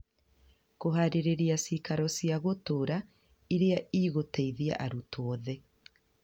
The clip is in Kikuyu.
Kũhaarĩria cĩikaro cĩa gũtũũra ũrĩa ũgũteithia arutwo othe.